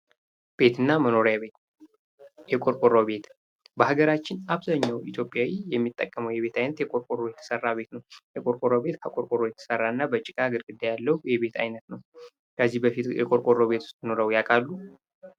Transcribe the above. ቤት እና መኖሪያ ቤት የቆርቆሮ ቤት በሀገራችን አብዛኛው ኢትዮጵያዊ የሚጠቀመዉ የቤት ዓይነት ጥቁር ቆሮ የተሰራ የቤት አይነት ነው። የቆርቆሮ ቤት ከቁርቆሮ የተሰራና የጭቃ ግድግዳ ያለው የቤት አይነት ነው ከዚህ በፊት የቆርቆሮ ቤት ውስጥ ኖሮ ያውቃሉ?